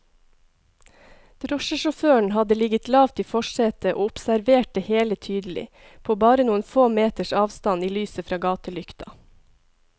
Drosjesjåføren hadde ligget lavt i forsetet og observert det hele tydelig, på bare noen få meters avstand i lyset fra gatelykta.